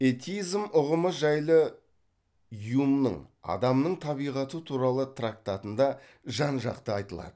этизм ұғымы жайлы юмның адамның табиғаты туралы трактатында жан жақты айтылады